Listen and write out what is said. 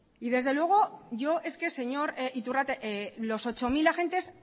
señor iturrate los ocho mil agentes